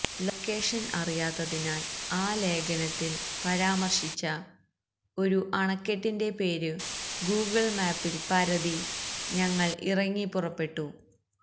location അറിയാത്തതിനാൽ ആ ലേഖനത്തിൽ പരാമർശിച്ച ഒരു അണക്കെട്ടിന്റെ പേരു ഗൂഗിൾ മാപ്പിൽ പരതി ഞങ്ങൾ ഇറങ്ങിപ്പുറപ്പെട്ടു